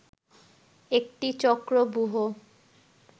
একটি চক্রব্যূহ